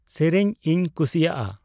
ᱥᱮᱨᱮᱧ ᱤᱧ ᱠᱷᱩᱥᱤᱭᱟᱜ ᱟ